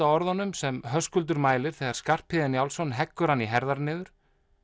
á orðunum sem Höskuldur mælir þegar Skarphéðinn Njálsson heggur hann í herðar niður